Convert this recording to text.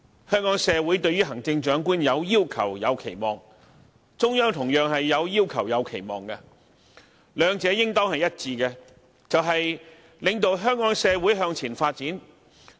香港社會對於行政長官有要求、有期望，中央同樣有要求、有期望，兩者應當一致，便是領導香港社會向前發展。